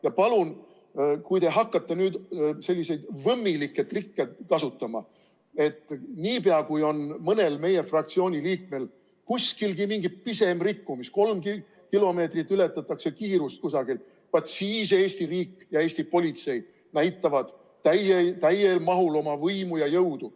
Ja palun, kui te hakkate nüüd selliseid võmmilikke trikke kasutama, et niipea kui on mõnel meie fraktsiooni liikmel kuskilgi mingi pisem rikkumine, kolm kilomeetrit tunnis ületatakse kiirust kusagil, vaat siis Eesti riik ja Eesti politsei näitavad täies mahus oma võimu ja jõudu.